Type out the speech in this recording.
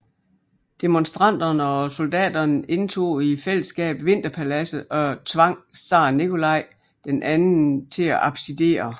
Demonstranterne og soldaterne indtog i fællesskab Vinterpaladset og tvang zar Nikolaj II til at abdicere